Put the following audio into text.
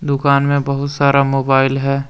दुकान में बहुत सारा मोबाइल है।